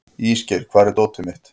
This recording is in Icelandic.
Ísgeir, hvar er dótið mitt?